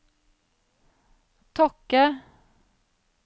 Tokke